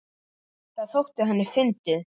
Það þótti henni fyndið.